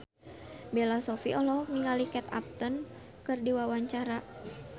Bella Shofie olohok ningali Kate Upton keur diwawancara